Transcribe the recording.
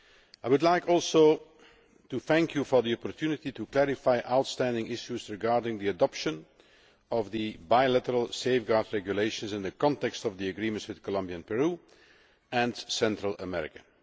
I would also like to thank you for the opportunity to clarify outstanding issues regarding the adoption of the Bilateral Safeguard Regulations in the context of the agreements with Colombia and Peru and with Central America.